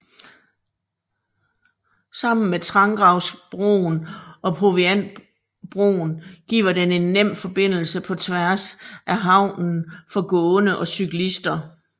Sammen med Trangravsbroen og Proviantbroen giver den en nem forbindelse på tværs af havnen for gående og cyklister